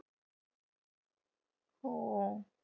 हो.